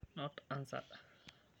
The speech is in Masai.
not answered